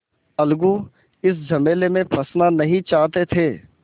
अलगू इस झमेले में फँसना नहीं चाहते थे